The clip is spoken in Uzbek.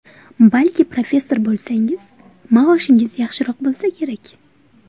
Balki professor bo‘lsangiz, maoshingiz yaxshiroq bo‘lsa kerak.